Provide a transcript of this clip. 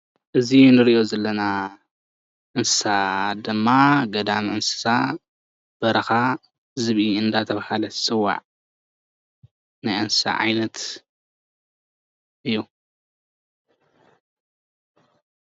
እዚ እንሪኦ ዘለና እንስሳ ድማ ገዳም እንስሳ በረኻ ዝብኢ እንዳተባሃለ ዝፅዋዕ ናይ እንስሳ ዓይነት እዩ፡፡